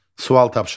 Sual tapşırıq.